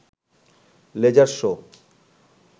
laser show